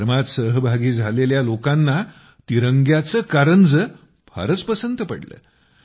कार्यक्रमात सहभागी झालेल्या लोकांना तिरंग्याचा कारंजे फारच पसंत पडलं